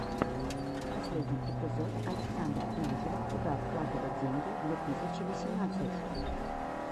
последний эпизод александра князева куда вкладывать деньги две тысячи восемнадцать